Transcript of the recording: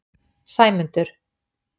Sæmundur